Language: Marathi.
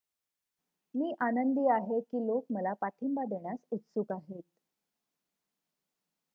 मी आनंदी आहे की लोक मला पाठिंबा देण्यास उत्सुक आहेत